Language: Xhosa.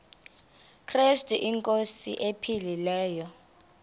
krestu inkosi ephilileyo